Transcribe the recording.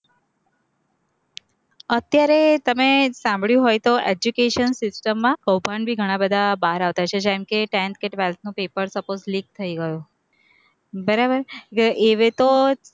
અત્યારે તમે સાંભળ્યું હોય તો education system માં કૌભાંડ ભી ઘણા બધા બાર આવતા છે, જેમ કે tenth કે twelfth નું paper suppose leak થઇ ગયું, બરાબર, એ હે તો